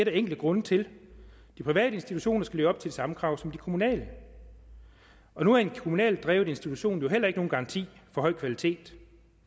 enkle grunde til de private institutioner skal leve op til de samme krav som de kommunale og nu er en kommunalt drevet institution jo heller ikke nogen garanti for høj kvalitet